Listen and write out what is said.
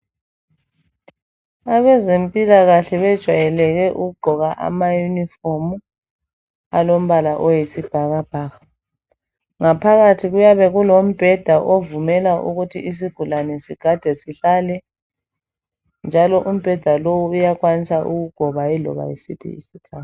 Abezempilakahle bejwayeleke ukugqoka amayunifomu alombala oyisibhakabhaka. Ngaphakathi kuyabe kulombheda ovumela ukuthi isigulane sigade sihlale, njalo umbheda lowu uyakwanisa ukugoba iloba yisiphi isikhathi.